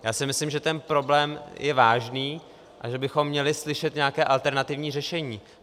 Já si myslím, že ten problém je vážný a že bychom měli slyšet nějaké alternativní řešení.